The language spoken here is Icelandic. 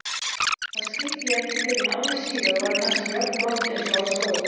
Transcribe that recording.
Það skildi ég ekki fyrren ári síðar og var kannski jafngott einsog á stóð.